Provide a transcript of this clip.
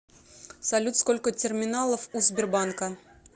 салют сколько терминалов у сбербанка